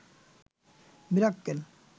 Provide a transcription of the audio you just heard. Mirakkel